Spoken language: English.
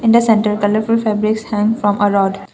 and the center colourful fabrics hang from a rod.